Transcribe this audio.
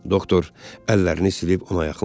Doktor əllərini silib ona yaxınlaşdı.